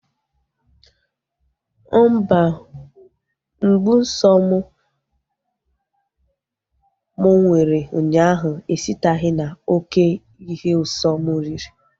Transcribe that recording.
Mba, mgbu nsọ m mụ nwere ụnyaahụ esiteghi na oké ihe usọ m riri